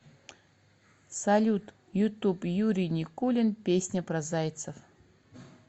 салют ютуб юрий никулин песня про зайцев